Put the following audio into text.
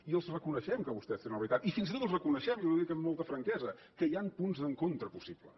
i els reconeixem que vostès tenen la veritat i fins i tot els reconeixem i li ho dic amb molta franquesa que hi han punts d’encontre possibles